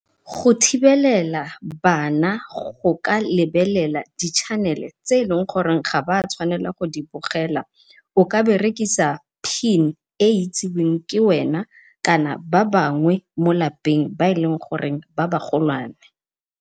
Go thibelela bana go ka lebelela di-channel tse e leng gore ga ba tshwanela go bogela o ka berekisa pin e itsiweng ke wena kana ba bangwe mo lapeng ba eleng gore ba ba golwane.